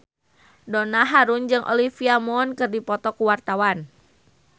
Donna Harun jeung Olivia Munn keur dipoto ku wartawan